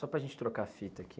Só para gente trocar a fita aqui.